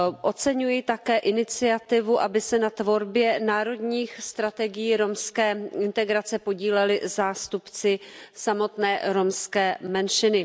Oceňuji také iniciativu, aby se na tvorbě národních strategií romské integrace podíleli zástupci samotné romské menšiny.